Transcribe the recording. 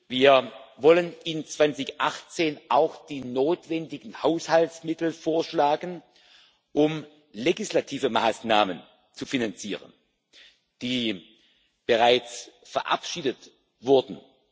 Wir wollen 2018 auch die notwendigen Haushaltsmittel vorschlagen, um legislative Maßnahmen zu finanzieren, die bereits verabschiedet wurden.